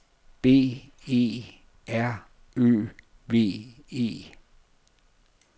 B E R Ø V E